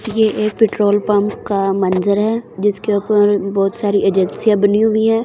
ये एक petrol pump का मनैजर है जिसके ऊपर बहुत सारी एजेंसियां बनी हुई है और।